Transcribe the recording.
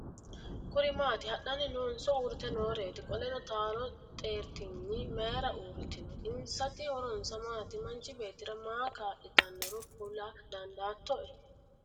Kuri maati? Hadhanni noonso uurrite nooreti? Qoleno taalo xeertigni mayiira uurritino? Insati horonsano maati? Manchi beetira maaho kaa'litanoro kula dandaattoe?